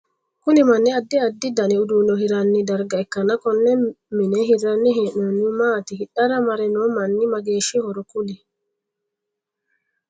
Kunni minni addi addi danni uduune hiranni darga ikanna konne mine hiranni hee'noonnihu maati? Hidhara mare noo manni mageeshihoro kuli?